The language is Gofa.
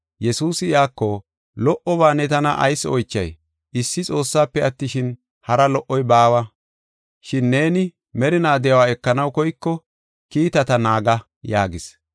Yesuusi iyako, “Lo77oba ne tana ayis oychay? Issi Xoossaafe attishin, hari lo77oy baawa. Shin neeni merinaa de7uwa ekanaw koyko kiitata naaga” yaagis.